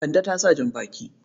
Kande ta sa jan-baki.